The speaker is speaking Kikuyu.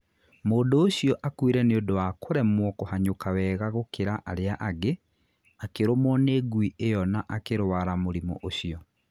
Mũndũ ũcio akuĩre nĩ ũndũ wa kũremwo kũhanyũka wega gũkĩra arĩa angĩ, akĩrũmwo nĩ ngui ĩyo na akĩrwara mũrimũ ũcio.